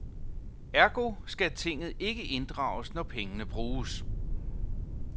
Ergo skal tinget ikke inddrages, når pengene bruges.